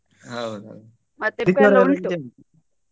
ಹೌದೌದು.